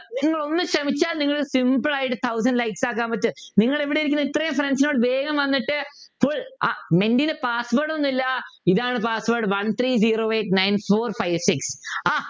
നിങ്ങൾ ഒന്ന് ശ്രമിച്ചാൽ Simple ആയിട്ട് thousand likes ആക്കാൻ പറ്റും നിങ്ങൾ ഇവിടെയിരിക്കുന്ന ഇത്രയും Friends നോട് വേഗം വന്നിട്ട് full ആഹ് മെൻറ്റി ടെ Password ഒന്നുമില്ല ഇതാണ് Password One three zero eight nine four five six ആഹ്